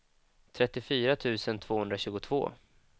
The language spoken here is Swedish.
trettiofyra tusen tvåhundratjugotvå